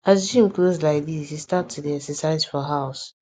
as gym close like this e start to dey excersise for house